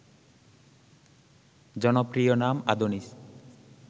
জনপ্রিয় নাম আদোনিস